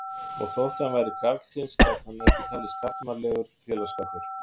Og þótt hann væri karlkyns gat hann ekki talist karlmannlegur félagsskapur.